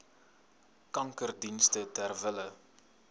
kankerdienste ter wille